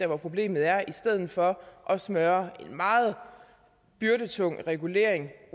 hvor problemet er i stedet for at smøre meget byrdetung regulering